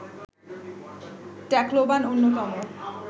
Tacloban অন্যতম